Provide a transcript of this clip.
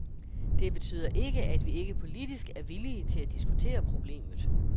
Det betyder ikke, at vi ikke politisk er villige til at diskutere problemet.